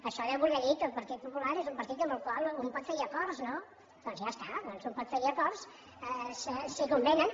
això deu voler dir que el partit popular és un partit amb el qual un pot fer hi acords no doncs ja està doncs un pot fer hi acords si convenen